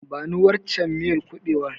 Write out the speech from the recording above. Bani waccen miyar kuɓewar.